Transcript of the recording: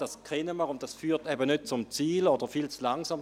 «Das kennen wir, und das führt eben nicht zum Ziel oder viel zu langsam.